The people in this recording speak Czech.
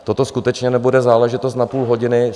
Toto skutečně nebude záležitost na půl hodiny.